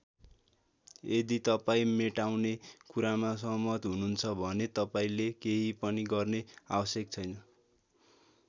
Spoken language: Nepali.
यदि तपाईँ मेटाउने कुरामा सहमत हुनुहुन्छ भने तपाईँले केही पनि गर्ने आवश्यक छैन।